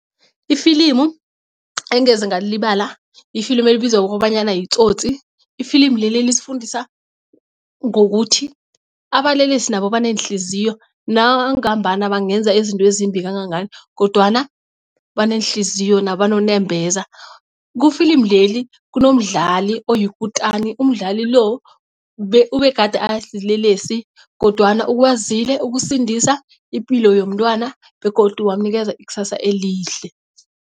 Ifilimu engeze ngalilibala yifilimu elibizwa ngokobanyana yiTsotsi. Ifilimu leli lisifundisa ngokuthi abalelesi nabo baneenhliziyo nangambana bangenza izinto ezimbi kangangani kodwana baneenhliziyo nabo banonembeza. Kufilimu leli kunomdlali oyikutani umdlali lo ubegade asilelesi kodwana ukwazile ukusindisa ipilo yomntwana begodu wamunikeza ikusasa elihle.